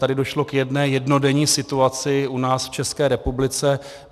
Tady došlo k jedné jednodenní situaci u nás, v České republice.